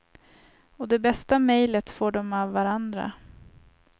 Och det bästa mejlet får de av varandra.